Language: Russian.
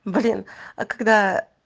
блин а когдаа